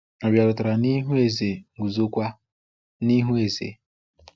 Ọ bịarutere n’ihu eze, guzo kwa n’ihu eze.